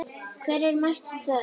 Hver er mættur þar?